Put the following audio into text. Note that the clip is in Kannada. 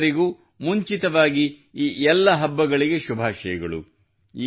ನಿಮ್ಮೆಲ್ಲರಿಗೂ ಮುಂಚಿತವಾಗಿ ಈ ಎಲ್ಲ ಹಬ್ಬಗಳಿಗೆ ಶುಭಾಶಯಗಳು